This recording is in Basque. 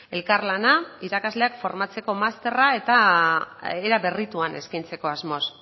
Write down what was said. elkarlana irakasleak formatzeko masterra eta era berrituan eskaintzeko asmoz